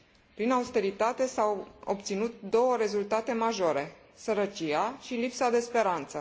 Prin austeritate s au obținut două rezultate majore sărăcia și lipsa de speranță.